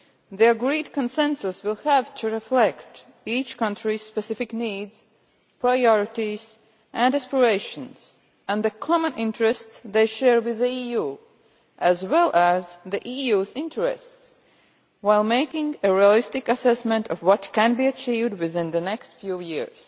The agreed consensus will have to reflect each country's specific needs, priorities and aspirations and the common interests they share with the EU, as well as the EUʼs interests, while making a realistic assessment of what can be achieved within the next few years.